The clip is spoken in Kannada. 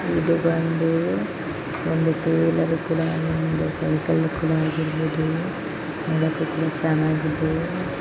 ಯಹಾನ್ ಪರ್ ಏಕ್ ಸೈಕಲ್ ಕಿ ಶಾಪ್ ದಿಖೈ ದೇ ರಹೀ ಹೈ ಉಸ್ಮೇಂ ಬಹುತ್ ಸಾರಿ ಸೈಕಲ್ ಖಾದಿ ಹೈ ಛೋಟಿ ಸೈಕಲ್ಸ್ ಮೇ ಹೈ ಬಾಡಿ ಸೈಕಲ್ ಪ್ರತಿ ಖಾದಿ ಹೈ ವಾಹನ್ ಪ್ರತಿ ಕುಛ್ ಲೋಗ್ ಕರೆನ್ ಏಕ್ ಲಡ್ಕಾ ಸೈಕಲ್ ದೇಖ್ ರಹಾ ಹೈ